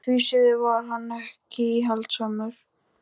Og það heyrðist ámátlegt já á innsoginu.